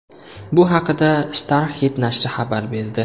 Bu haqida Starhit nashri xabar berdi .